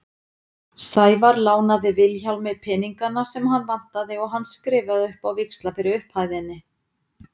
Sævar lánaði Vilhjálmi peningana sem hann vantaði og hann skrifaði upp á víxla fyrir upphæðinni.